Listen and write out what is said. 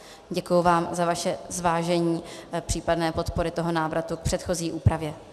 Děkuji vám za vaše zvážení případné podpory toho návratu k předchozí úpravě.